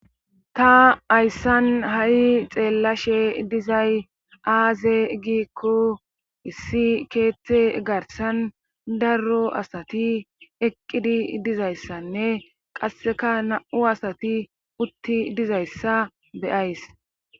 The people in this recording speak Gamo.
Ta ayssan ha'i xeellashe dizay aaze giikko issi keeththe garsan darro asati eqqidi dizayssanne qasseka na7u asati utti dizayssa beyays.